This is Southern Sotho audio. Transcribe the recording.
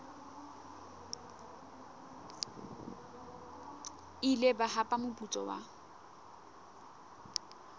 ile ba hapa moputso wa